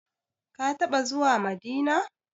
Ka taɓa zuwa Madina?